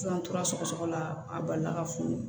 An tora sɔgɔsɔgɔ la a balila ka funu